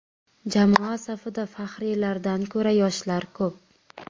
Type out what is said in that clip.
Jamoa safida faxriylardan ko‘ra, yoshlar ko‘p.